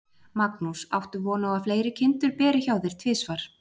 Magnús: Áttu von á að fleiri kindur beri hjá þér tvisvar?